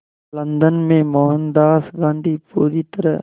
London में मोहनदास गांधी पूरी तरह